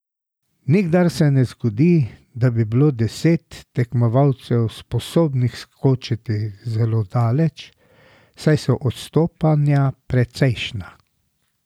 Nikdar se ne zgodi, da bi bilo deset tekmovalcev sposobnih skočiti zelo daleč, saj so odstopanja precejšnja.